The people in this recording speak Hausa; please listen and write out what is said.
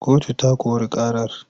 Kotu ta kori ƙarar.